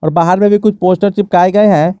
बाहर में भी कुछ पोस्टर चिपकाए गए हैं।